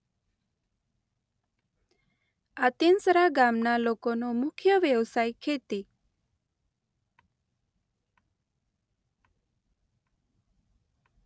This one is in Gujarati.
આંતીસરા ગામના લોકોનો મુખ્ય વ્યવસાય ખેતી